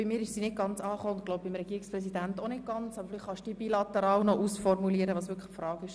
Bei mir ist sie nicht so ganz klar angekommen, und ich glaube, beim Regierungspräsidenten ebenfalls nicht.